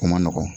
O ma nɔgɔn